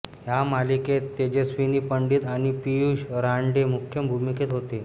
ह्या मालिकेत तेजस्विनी पंडित आणि पीयूष रानडे मुख्य भूमिकेत होते